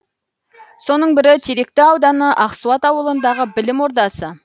соның бірі теректі ауданы ақсуат ауылындағы білім ордасы